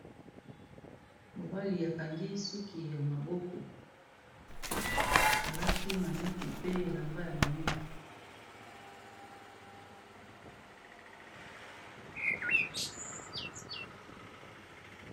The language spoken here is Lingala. Mobali akangi suki ya maboko alati maneti pe elamba ya moindo.